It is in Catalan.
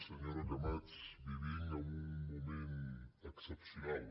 senyora camats vivim en un moment excepcional